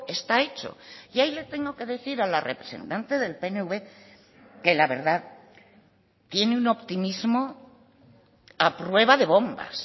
está hecho y ahí le tengo que decir a la representante del pnv que la verdad tiene un optimismo a prueba de bombas